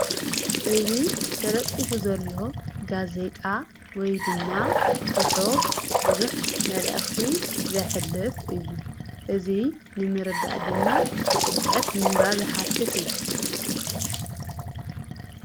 እዙይ ተለጢፉ ዘሎ ጋዜጣ ወይ ድማ ጽሑ ብዙኅ መላእኽቲ ዘይኅለፍ እዩ እዙይ ንምርዳእ ድማ ብጥልቀት ምንባብ የሓትት እዩ።